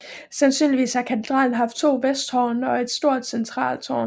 Sandsynligvis har katedralen haft to vesttårne og et stort centralt tårn